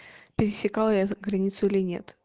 пересекала я границу или нет